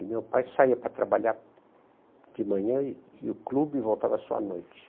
E meu pai saía para trabalhar de manhã e e o clube voltava só à noite.